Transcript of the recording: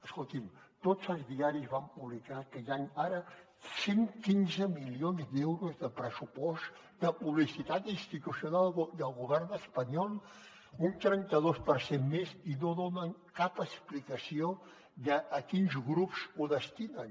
escolti’m tots els diaris van publicar que hi han ara cent i quinze milions d’euros de pressupost de publicitat institucional del govern espanyol un trenta dos per cent més i no donen cap explicació de a quins grups ho destinen